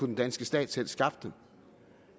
den danske stat selv skaffe dem